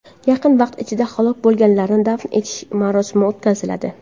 Yaqin vaqt ichida halok bo‘lganlarni dafn etish marosimi o‘tkaziladi.